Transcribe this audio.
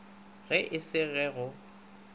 ge e se ge go